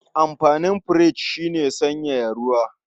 Amfanin firich shi ne sanyaya ruwa.